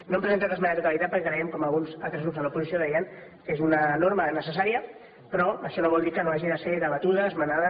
no hem presentat esmena a la totalitat perquè creiem com alguns altres grups de l’oposició deien que és una norma necessària però això no vol dir que no hagi de ser debatuda esmenada